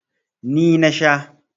Ni na sha.